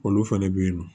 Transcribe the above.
Olu fɛnɛ bɛ yen nɔ